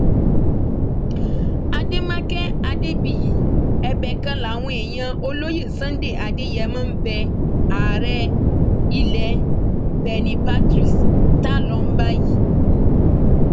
àdèmàkẹ̀ adébíyí ẹbẹ kan làwọn èèyàn olóyè sunday adeyémọ ń bẹ ààrẹ ilẹ benne patrice tálọn báyìí